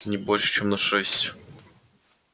не больше чем на шесть